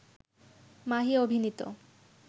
মাহি অভিনীত